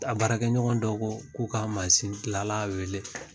A baarakɛ ɲɔgɔn dɔw ko ka mazin gila la wele